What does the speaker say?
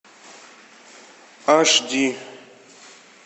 аш ди